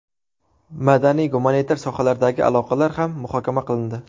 Madaniy-gumanitar sohalardagi aloqalar ham muhokama qilindi.